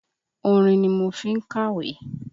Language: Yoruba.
Orin ni mo fí ń kàwé